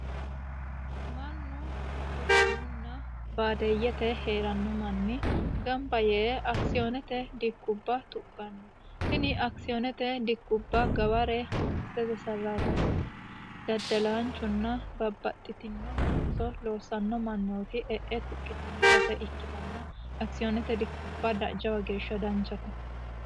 mannu quchumunna baadeeyyete hee'ranno manni gamba yee akisiyoonete dikkubba tuqqanno tini akisiyoonete dikkubba gaware mangistete sarraatanye daddalaanchunna babbaxxitino looso loossanno mannooti e'e tuqqitanno base ikkitanna akisiyoonete dikkubba jawa geeshsha danchate